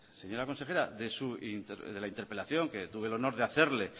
señora consejera de la interpelación que tuve el honor de hacerle